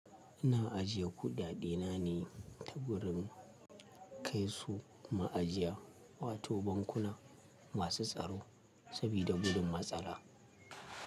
Ina ajiye kuɗaɗena ne ta gurin kai su ma'ajiya wato bankuna masu tsaro sabida gudun matsala.